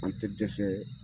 An te dɛsɛ